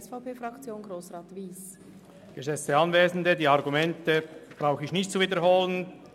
Ich brauche die Argumente nicht zu wiederholen.